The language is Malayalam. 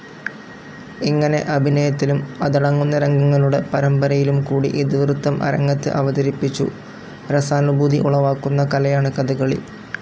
ഇങ്ങനെ അഭിനയത്തിലും അതടങ്ങുന്ന രംഗങ്ങളുടെ പരമ്പരയിലും കൂടി ഇതിവൃത്തം അരങ്ങത്ത് അവതരിപ്പിച്ചു രസാനുഭൂതി ഉളവാക്കുന്ന കലയാണ് കഥകളി.